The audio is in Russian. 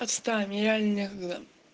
отстань мне реально некогда